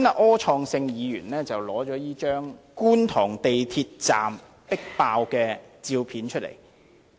柯創盛議員剛才拿出這張觀塘港鐵站迫爆的照片。